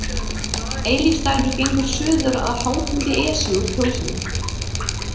Eilífsdalur gengur suður að hátindi Esju úr Kjósinni.